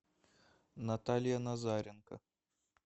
наталья назаренко